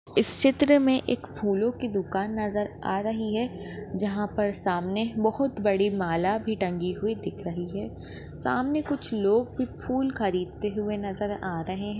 इस चित्र में एक फूलों की दुकान नज़र हा रही है जहाँ पर सामने बहोत बड़ी माला भी टंगी हुई दिख रही है सामने कुछ लोग भी फूल खरीदते हुए नज़र हा रहे है।